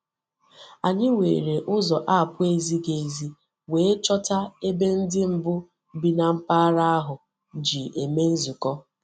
Anyị were ụzọ apụ ezighi ezi wee chọta ebe ndị mbụ bi na mpaghara ahụ ji eme nzukọ.